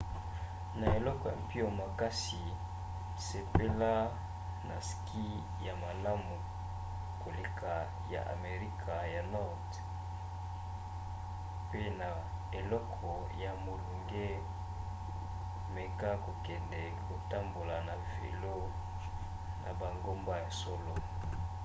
na eleko ya mpio makasi sepela na ski ya malamu koleka ya amerika ya nord pe na eleko ya molunge meka kokende kotambola na velo na bangomba ya solo